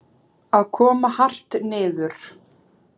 Að koma hart niður